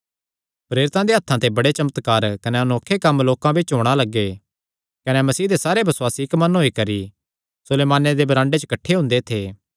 प्रेरितां देयां हत्थां ते बड़े चमत्कार कने अनोखे कम्म लोकां बिच्च होणा लग्गे कने मसीह दे सारे बसुआसी इक्क मन होई करी सुलेमाने दे बरांडे च किठ्ठे हुंदे थे